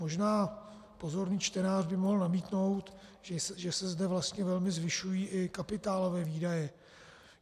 Možná pozorný čtenář by mohl namítnout, že se zde vlastně velmi zvyšují i kapitálové výdaje.